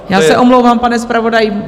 Já se omlouvám, pane zpravodaji.